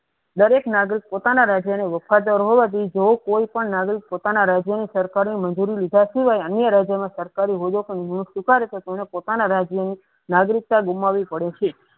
દરેક નાગરિક પોતાના રાજ્યને વફાદાર હોવાથી કે જો કોઈ પણ નાગરિક પોતાના રાજ્યની સરકારી મજૂરી લીધા છીએ અને સરકારી હોદ્દો પણ સ્વીકર્યો તો તેને પોતાના રાજ્ય ની નાગરિકતા ગુમાવી પડે છે.